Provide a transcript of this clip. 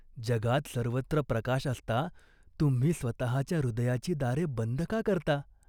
जगात सर्वत्र प्रकाश असता तुम्ही स्वतःच्या हृदयाची दारे बंद का करता ?